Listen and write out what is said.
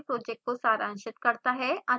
यह spoken tutorial project को सारांशित करता है